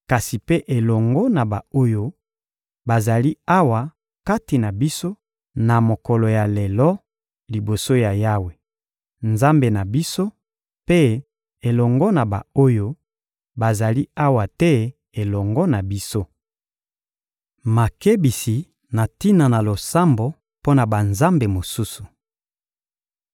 kasi mpe elongo na ba-oyo bazali awa kati na biso, na mokolo ya lelo, liboso ya Yawe, Nzambe na biso, mpe elongo na ba-oyo bazali awa te elongo na biso. Makebisi na tina na losambo mpo na banzambe mosusu